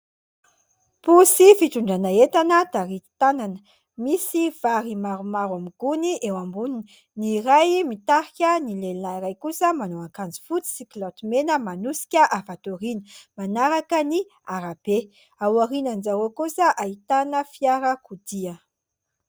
Posy fitondrana entana taritin-tanana, misy vary maromaro amin'ny gony eo amboniny. Ny iray mitarika, ny lehilahy iray kosa manao akanjo fotsy sy kilaoty mena manosika avy ato aoriana manaraka ny arabe ao aorianan'izy ireo kosa ahitana fiarakodia.